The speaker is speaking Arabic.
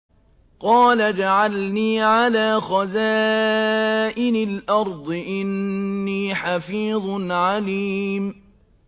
قَالَ اجْعَلْنِي عَلَىٰ خَزَائِنِ الْأَرْضِ ۖ إِنِّي حَفِيظٌ عَلِيمٌ